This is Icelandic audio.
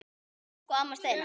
Elsku amma Steina.